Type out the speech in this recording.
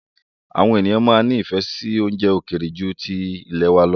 Àwọn ènìyàn máa ń nifẹ si oúnjẹ ókéré ju tilẹ̀ wá lọ